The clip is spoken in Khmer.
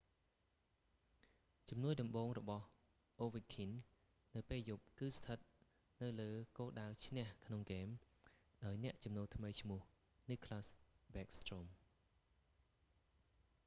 ជំនួយដំបូងរបស់ ovechkin នៅពេលយប់គឺស្ថិតនៅលើគោលដៅឈ្នះក្នុងហ្គេម ដោយអ្នកចំនូលថ្មីឈ្មោះ nicklas backstrom